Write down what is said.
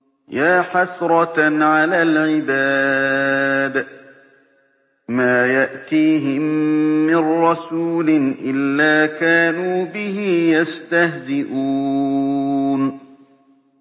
يَا حَسْرَةً عَلَى الْعِبَادِ ۚ مَا يَأْتِيهِم مِّن رَّسُولٍ إِلَّا كَانُوا بِهِ يَسْتَهْزِئُونَ